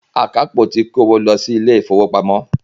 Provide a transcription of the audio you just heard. Àkápò ti kó owó lọ si ilé ìfọwọ́pamo.